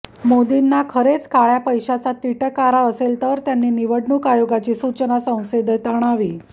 मोदींना खरेच काळय़ा पैशाचा तिटकारा असेल तर त्यांनी निवडणूक आयोगाची सूचना संसदेत आणावी